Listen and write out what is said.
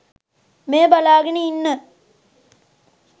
මෙය බලාගෙන ඉන්න